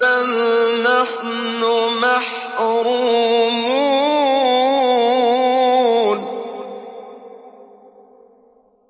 بَلْ نَحْنُ مَحْرُومُونَ